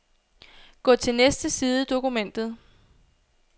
Gå til næste side i dokumentet.